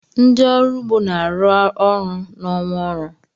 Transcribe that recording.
Ndị ọrụ ugbo na-arụ ọrụ n'ọnwa ọrụ.